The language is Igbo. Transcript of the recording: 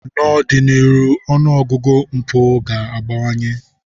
N'ọdịnihu, ọnụ ọgụgụ mpụ ga-abawanye.